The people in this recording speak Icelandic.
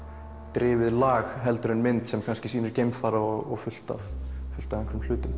drifið lag en mynd sem kannski sýnir geimfara og fullt af fullt af einhverjum hlutum